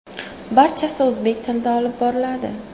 Barchasi o‘zbek tilida olib boriladi.